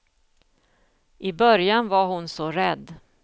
I början var hon så rädd.